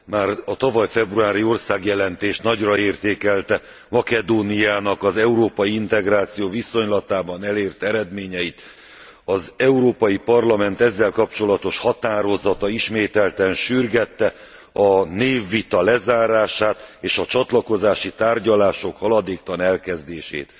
Már a tavaly februári országjelentés nagyra értékelte Makedóniának az európai integráció viszonylatában elért eredményeit. Az Európai Parlament ezzel kapcsolatos határozata ismételten sürgette a névvita lezárását és a csatlakozási tárgyalások haladéktalan elkezdését.